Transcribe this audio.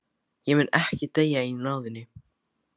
Ég mun ekki deyja í náðinni.